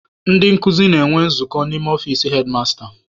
Ndị nkuzi na-enwe nzukọ n'ime ọfici hedmasta.